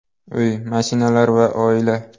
Uy, mashinalar va oila.